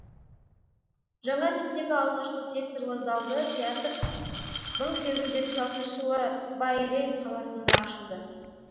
жаңа типтегі алғашқы секторлы залды театр мың сегіз жүз жетпіс алтыншы жылы байрейт қаласында ашылды